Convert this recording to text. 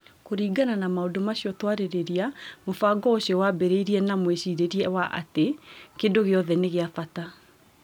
Kũringana na maũndũ macio twarĩrĩria, mũbango ũcio waambĩrĩirie na mwĩcirĩrie wa atĩ kĩndũ gĩothe nĩ kĩa bata.